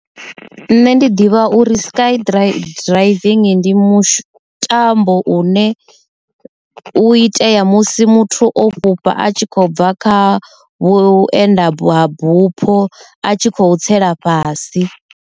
Nṋe ndi ḓivha uri sky driving ndi mutambo une u itea musi muthu o fhufha a tshi khou bva kha vhuenda ha bupho a tshi khou tsela fhasi.